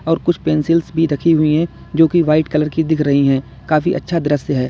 और कुछ पेंसिल्स भी रखी हुई है जो की वाइट कलर की दिख रही है काफी अच्छा दृश्य है।